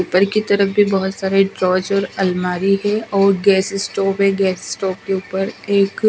paper की तरफ भी बहुत सारे ड्रॉयज और अलमारी है और गैस स्टॉप है गैस स्टॉप के ऊपर एक--